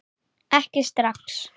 Ekki strax!